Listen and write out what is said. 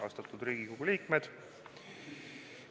Austatud Riigikogu liikmed!